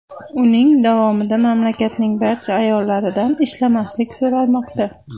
Uning davomida mamlakatning barcha ayollaridan ishlamaslik so‘ralmoqda.